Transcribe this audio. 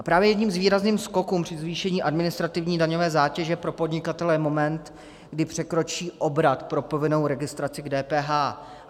A právě jedním z výrazných skoků při zvýšení administrativní daňové zátěže pro podnikatele je moment, kdy překročí obrat pro povinnou registraci k DPH.